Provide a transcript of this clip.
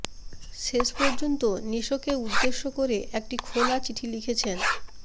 শেষ পর্যন্ত নিশোকে উদ্দেশ করে একটি খোলা চিঠি লিখেছেন